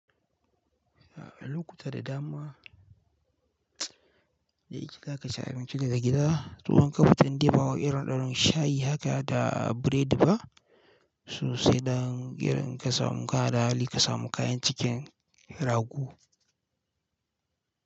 Lokuta da dama, dai yake ka kaci abinci daga gida. Toi n kafitan indai bawai irin irin shayi haka da biredi ba, so sai da irin kasamu kada hali kasamu kayan cikin rago.